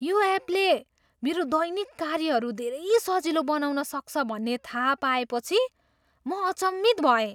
यो एपले मेरो दैनिक कार्यहरू धेरै सजिलो बनाउन सक्छ भन्ने थाह पाएपछि म अचम्मित भएँ।